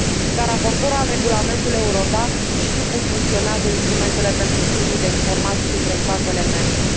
Ca raportor al Regulamentului Eurodac, știu cum funcționează instrumentele pentru schimbul de informații dintre statele membre.